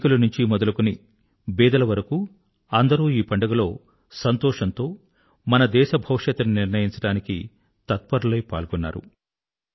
ధనికులనుంచి మొదలుకొని బీదల వరకు అందరూ ఈ పండుగలో సంతోషంతో పాల్గొని మన దేశ భవిష్యత్తును నిర్ణయించడానికి తత్పరులై పాల్గొన్నారు